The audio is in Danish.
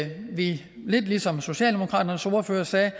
vi lidt ligesom socialdemokratiets ordfører sagde